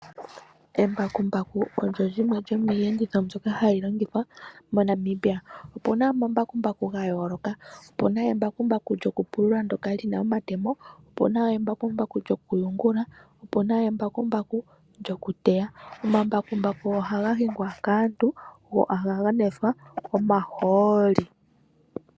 Embakumbaku olyo limwe lyomiiyenditho mbyoka hayi longithwa MoNamibia. Opuna omambakumbaku gayooloka. Opuna embakumbaku lyokupulula ndyoka lina omatemo, opuna embakumbaku lyokuyungula, noshowo embakumbaku lyokuteya. Omambakumbaku ohaga hingwa kaantu, go ohaga nwethwa omahooli.